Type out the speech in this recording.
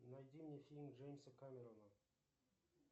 найди мне фильм джеймса кэмерона